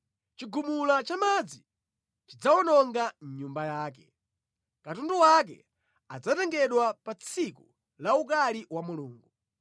Chigumula cha madzi chidzawononga nyumba yake, katundu wake adzatengedwa pa tsiku la ukali wa Mulungu.